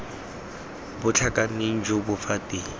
bo tlhakaneng jo bo fetang